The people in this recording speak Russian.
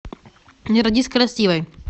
не родись красивой